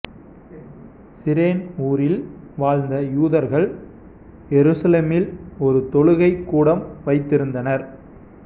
சிரேன் ஊரில் வாழ்ந்த யூதர்கள் எருசலேமில் ஒரு தொழுகைக் கூடம் வைத்திருந்தனர்